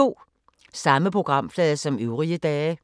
Samme programflade som øvrige dage